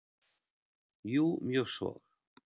Jú mjög svo.